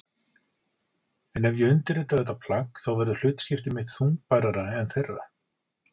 En ef ég undirrita þetta plagg þá verður hlutskipti mitt þungbærara en þeirra.